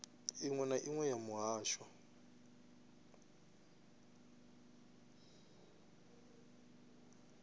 iṅwe na iṅwe ya muhasho